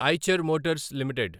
Eicher Motors limited